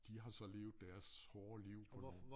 De har så levet deres hårde liv og